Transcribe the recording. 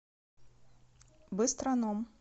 быстроном